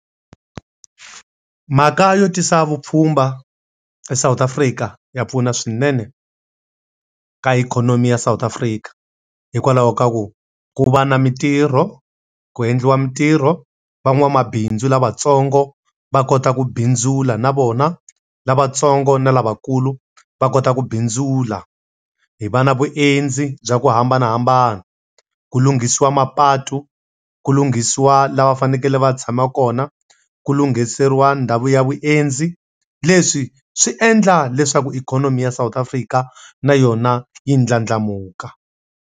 Mhaka yo tisa vupfhumba eSouth Africa ya pfuna swinene eka ikhonomi ya South Africa. Hikwalaho ka ku ku va na mintirho, ku endliwa mintirho, van'wamabindzu lavatsongo va kota ku bindzula na vona, lavatsongo na lavakulu va kota ku bindzula. Hi va na vuendzi bya ku hambanahambana, ku lunghisiwa mapatu, ku lunghisiwa laha va fanekele va tshama kona, ku lunghiseriwa ndhawu ya vuendzi. Leswi swi endla leswaku ikhonomi ya South Africa na yona yi ndlandlamuka.